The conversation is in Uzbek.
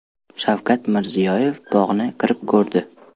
Shavkat Mirziyoyev bog‘ni kirib ko‘rdi.